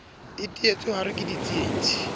a teetswe hare ke ditsietsi